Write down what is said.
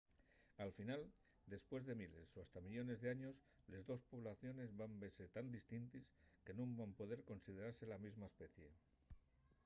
al final depués de miles o hasta millones d’años les dos poblaciones van vese tan distintes que nun van poder considerase la mesma especie